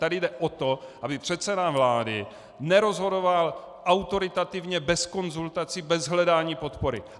Tady jde o to, aby předseda vlády nerozhodoval autoritativně bez konzultací, bez hledání podpory.